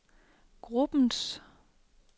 gruppens